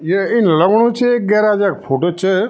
या इन लगणु च गेराज क फोटो च।